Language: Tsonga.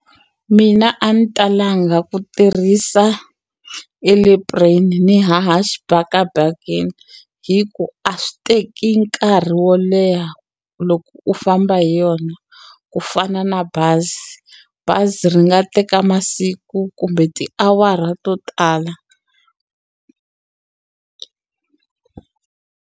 Mina a ni ta langa ku tirhisa airplane ni haha xibakabakeni hi ku a swi teki nkarhi wo leha loko u famba hi yona ku fana na bazi bazi ri nga teka masiku kumbe tiawara to tala.